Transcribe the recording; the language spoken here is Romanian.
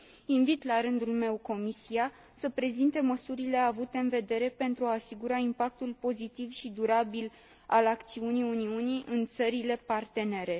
Invit la rândul meu Comisia să prezinte măsurile avute în vedere pentru a asigura impactul pozitiv și durabil al acțiunii Uniunii în țările partenere.